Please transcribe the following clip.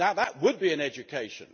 Now that would be an education!